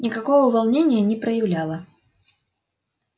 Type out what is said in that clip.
никакого волнения не проявляла